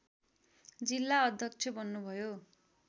जिल्ला अध्यक्ष बन्नुभयो